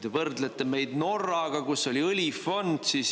Te võrdlete meid Norraga, kus on õlifond.